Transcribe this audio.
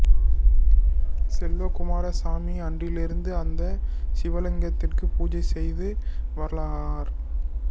செல்வக்குமர சாமி அன்றிலிருந்து அந்த சிவலிங்கத்திற்கு பூஜை செய்து வரலானார்